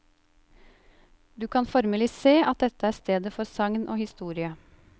Du kan formelig se at dette er stedet for sagn og historie.